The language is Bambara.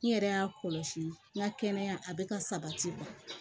N yɛrɛ y'a kɔlɔsi n ka kɛnɛya a bɛ ka sabati